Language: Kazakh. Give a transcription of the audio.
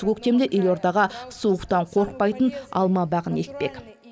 осы көктемде елордаға суықтан қорықпайтын алма бағын екпек